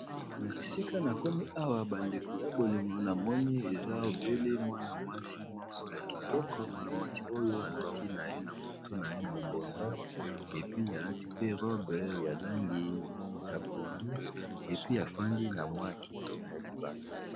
Esika nakomi awa bandeko ba bolingo namoni mwana mwasi ya kitoko alati na mutu naye mubunda alati pe robe ya mayi ya pondu afandi na kiti libanda.